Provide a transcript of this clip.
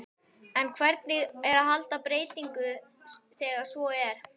En hvernig er að halda einbeitingu þegar svo er?